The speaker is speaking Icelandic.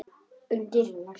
Undir henni er heitur reitur.